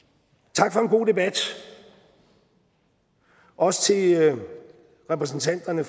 tak for en god debat også til repræsentanterne